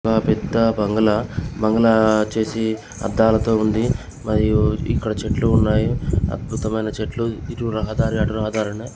ఆ పెద్ద బంగ్లా బంగ్లా బంగ్లా వచ్చేసి అద్దాలతో ఉంది. మరియు ఇక్కడ చెట్లు ఉన్నాయి అద్భుతమైన చెట్లు ఇటు రహదారి అటు రహదారి ఉన్నాయి.